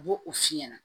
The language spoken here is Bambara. U b'o o f'i ɲɛna